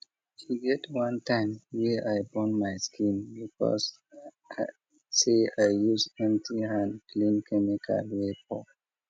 e get one time wey i burn my skin because say i use empty hand clean chemical wey pour